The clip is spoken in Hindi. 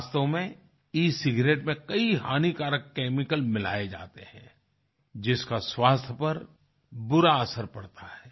वास्तव में ई सिगारेट में कई हानिकारक केमिकल मिलाए जाते हैं जिसका स्वास्थ्य पर बुरा असर पड़ता है